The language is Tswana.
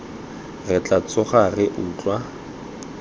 re tla tsoga re utlwa